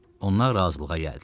Onlar razılığa gəldilər.